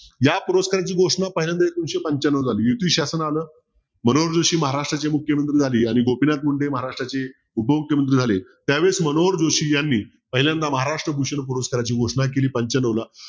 या पुरस्काराची घोषणा पहिल्यांदा एकोणविशे पंचान्नवला आली युती शासन आलं म्हणून मनोहर जोशी महाराष्ट्राचे मुख्यमंत्री झाले आणि गोपीनाथ मुंडे महाराष्ट्राचे उपमुख्यमंत्री झाले त्यावेळेस मनोहर जोशी यांनी पहिल्यांदा महाराष्ट्र भूषण पुरस्काराची घोषणा केली पंच्यान्नवला.